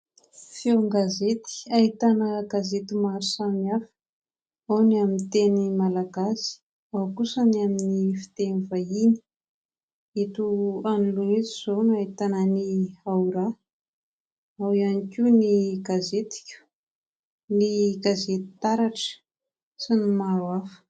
Feon-gazety ahitana gazety maro samihafa ao ny amin'ny teny malagasy, ao kosa ny amin'ny fiteny vahiny ; eto anoloana eto izao no ahitana ny "AORaha", ao ihany koa ny "gazetiko", ny gazety "taratra" sy ny maro hafa.